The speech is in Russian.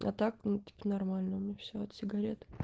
а так ну тип нормально у меня всё от сигарет